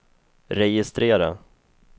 registrera